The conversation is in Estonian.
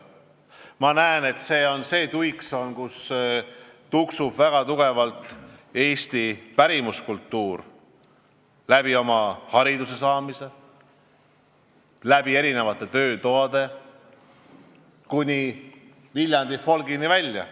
Ma näen, et see on see tuiksoon, kus tuksub väga tugevalt eesti pärimuskultuur oma haridusvõimaluste ja erinevate töötubade kaudu kuni Viljandi folgini välja.